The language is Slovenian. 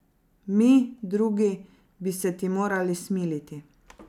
Mi, drugi, bi se ti morali smiliti.